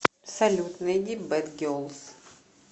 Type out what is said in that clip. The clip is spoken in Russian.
салют найди бэд гелз